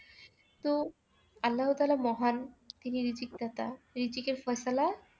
তো আল্লাহতালা মহান তিনি রিজিকদাতা রিজিকের